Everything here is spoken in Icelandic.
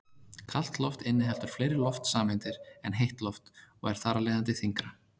Kalt loft inniheldur fleiri loftsameindir en heitt loft og er þar af leiðandi þyngra.